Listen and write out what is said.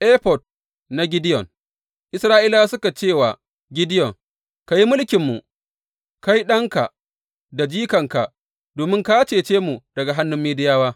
Efod na Gideyon Isra’ilawa suka ce wa Gideyon, Ka yi mulkinmu, kai, ɗanka da jikanka, domin ka cece mu daga hannun Midiyawa.